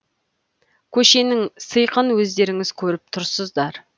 көшенің сиқын өздеріңіз көріп тұрсызар